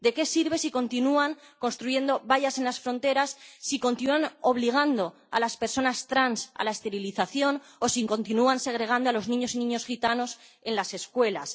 ¿De qué sirve si continúan construyendo vallas en las fronteras, si continúan obligando a las personas trans a la esterilización o si continúan segregando a los niños y niñas gitanos en las escuelas?